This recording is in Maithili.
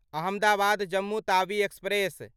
अहमदाबाद जम्मू तावी एक्सप्रेस